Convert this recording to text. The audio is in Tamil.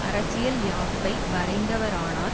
அரசியல் யாப்பை வரைந்தவரானார்